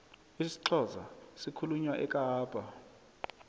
isixhosa sikhulunywa ekapa